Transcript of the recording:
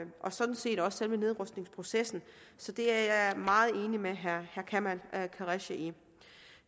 sådan set også selve nedrustningsprocessen så det er jeg meget enig med herre kamal qureshi i